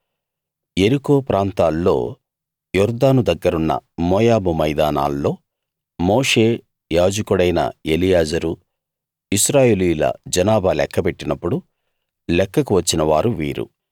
యెరికో ప్రాంతాల్లో యొర్దాను దగ్గరున్న మోయాబు మైదానాల్లో మోషే యాజకుడైన ఎలియాజరు ఇశ్రాయేలీయుల జనాభా లెక్కపెట్టినప్పుడు లెక్కకు వచ్చిన వారు వీరు